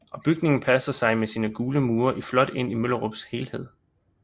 Og bygningen passer sig med sine gule mure flot ind i Møllerups helhed